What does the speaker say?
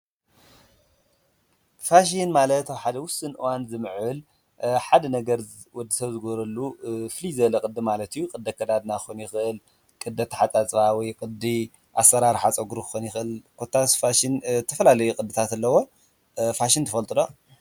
ፋሽን ማለት ኣብ ሓደ ውስን እዋን ዝምዕብል ሓደ ነገር ወዲ ሰብ ዝገብረሉ ፍልይ ዝበለ ቅዲ ማለት እዩ፡፡ ቅዲ ኣከዳድና ክኾን ይኽእል ቅዲ ኣተሓፃፅባ ወይ ቅዲ ኣሰራርሓ ፀጉሪ ክኾን ይኽእል ኮታስ ፋሽን ዝተፈላለዩ ቅድታት ኣለዎ፡፡ ፋሽን ትፈልጡ ዶ?